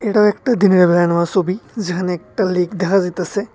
এটা একটা দিনেরবেলা নেওয়া ছবি যেখানে একটা লেক দেখা যাইতাসে।